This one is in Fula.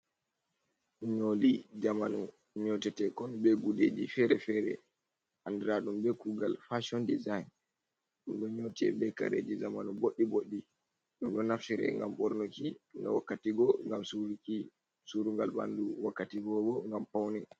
Nyoli zamanu nyotetekon ɓe guɗeji fere-fere. Anɗiraɗum ɓe kugal fason ɗisain. Ɗo nyote ɓe kareji zamanu ɓoɗɗi ɓoɗɗi. Ɗum ɗo naftira ngam ɓornuki, ga wakkati go ngam surugal ɓanɗu. wakkatigo ɓo ngam paune.